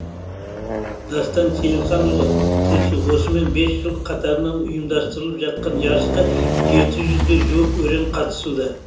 дастан сейілханұлы тілші осымен бес жыл қатарынан ұйымдастырылып жатқан жарысқа жетіге жуық өрен қатысуда